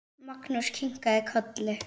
Magnús kinkaði kolli.